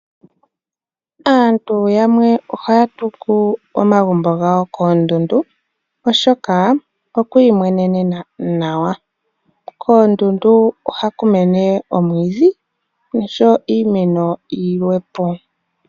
Aantu yamwe ohaya tungu omagumbo gawo koondundu, oshoka okwa imwenenena nawa. Koondundu oha ku mene oomwiidhi noshowo iimeno yilwe po.